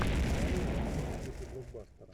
нарой картину в духе блокбастер